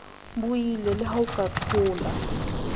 buile leha o ka thola